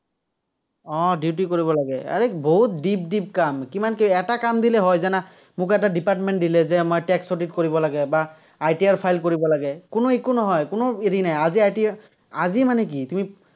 উম duty কৰিব লাগে। আৰে বহুত deep deep কাম, কিমান কৰিবা। এটা কাম দিলে হয়, জানা। মোক এটা department দিলে যে আমাৰ tax audit কৰিব লাগে, বা ITR file কৰিব লাগে, কোনো একো নহয়, কোনো হেৰি নাই। আজি ITR আজি মানে কি, তুমি